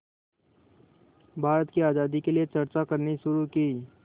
भारत की आज़ादी के लिए चर्चा करनी शुरू की